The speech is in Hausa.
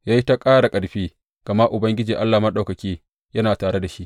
Ya yi ta ƙara ƙarfi, gama Ubangiji Allah Maɗaukaki yana tare da shi.